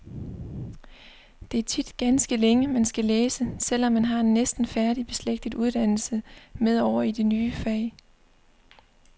Det er tit ganske længe, man skal læse, selv om man har en næsten færdig beslægtet uddannelse med over i det nye fag.